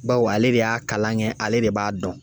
Bawo ale de y'a kalan kɛ ale de b'a dɔn